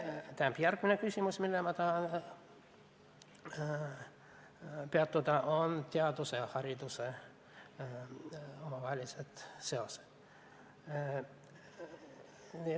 Järgmine küsimus, millel ma tahan peatuda, on teaduse ja hariduse omavahelised seosed.